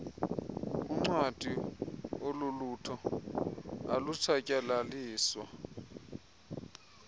uncwadi olulutho alutshatyalaliswa